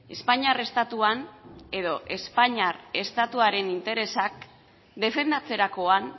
espainiar estatuan edo espainiar estatuaren interesak defendatzerakoan